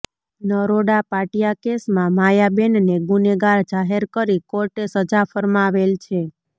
નરોડા પાટિયા કેસમાં માયાબેનને ગુનેગાર જાહેર કરી કોર્ટે સજા ફરમાવેલ છે